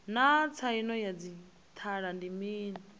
naa tsaino ya didzhithala ndi mini